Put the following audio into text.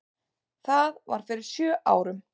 Það var fyrir sjö árum.